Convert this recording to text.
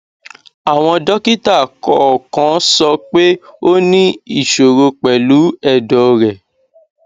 àwọn dọkítà kòòkan sọ pé ó ní ìsòro pẹlú ẹdọ rẹ